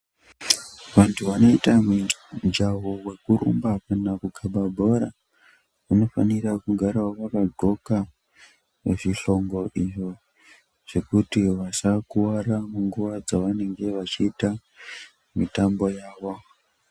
Vantu vanoita mijaho wekurumba kana kukaba bhora vanofanirawo kugara vakandxoka zvihlongo izvo zvekuti vasakuwara munguwa dzavanenge vachiita mitambo yawo.